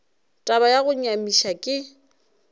taba ya go nyamiša ke